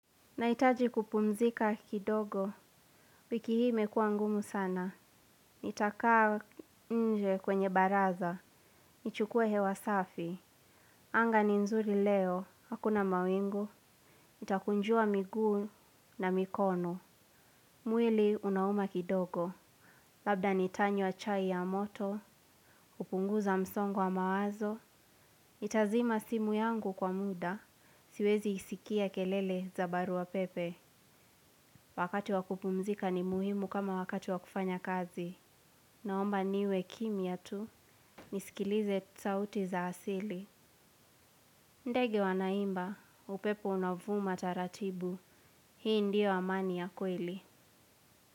Naitaji kupumzika kidogo, wiki hii imekua ngumu sana. Nitakaa nje kwenye baraza, nichukue hewa safi. Anga ni nzuri leo, hakuna mawingu, nitakunjua miguu na mikono. Mwili unauma kidogo, labda nitanywa chai ya moto, kupunguza msongo wa mawazo. Nitazima simu yangu kwa muda, siwezi isikia kelele za barua pepe. Wakati wakupumzika ni muhimu kama wakati wakufanya kazi. Naomba niwe kimya tu nisikilize sauti za asili. Ndege wanaimba, upepo unavuma taratibu. Hii ndio amani ya kweli.